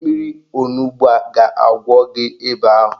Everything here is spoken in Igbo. Mmiri onugbo a ga-agwọ gị ịba ahụ